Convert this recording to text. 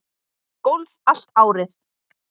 Að leika golf allt árið.